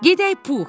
Gedək, Pux!